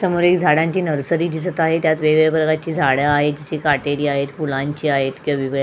सामोर झाडांची नर्सरी दिसत आहे त्यात वेगवेगळ्या प्रकारची झाड आहे जशी काटेरी आहेत फुलांची आहेत केवीवि बे --